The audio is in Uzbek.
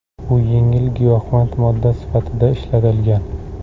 U yengil giyohvand modda sifatida ishlatilgan.